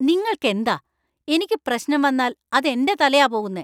നിങ്ങൾക്കെന്താ? എനിക്ക് പ്രശ്നം വന്നാൽ അത് എന്‍റെ തലയാ പോകുന്നെ.